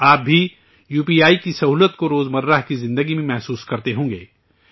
آپ بھی U P I کی سہولت کو روزمرہ کی زندگی میں محسوس کرتے ہوں گے